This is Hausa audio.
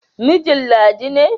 Mijin Ladi ne.